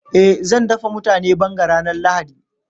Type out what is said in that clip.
Eh zan dafa mutane banga ranar lahadi.